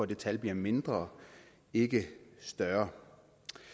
det tal bliver mindre ikke større